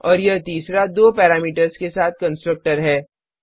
और यह तीसरा दो पैरामीटर्स के साथ कंस्ट्रक्टर है